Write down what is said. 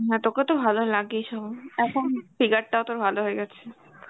হ্যাঁ তোকে তো ভালো লাগেই সব এখন figure টাও তোর ভালো হয়ে গেছে.